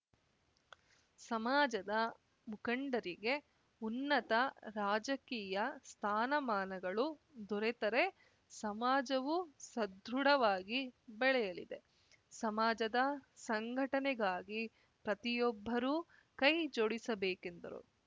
ಸಮಾಜದ ಮುಖಂಡರಿಗೆ ಉನ್ನತ ರಾಜಕೀಯ ಸ್ಥಾನಮಾನಗಳು ದೊರೆತರೆ ಸಮಾಜವು ಸದೃಢವಾಗಿ ಬೆಳೆಯಲಿದೆ ಸಮಾಜದ ಸಂಘಟನೆಗಾಗಿ ಪ್ರತಿಯೊಬ್ಬರೂ ಕೈ ಜೋಡಿಸಬೇಕೆಂದರು